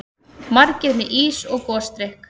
Margir með ís og gosdrykki.